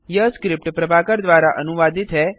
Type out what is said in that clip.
यह स्क्रिप्ट प्रभाकर द्वारा अनुवादित है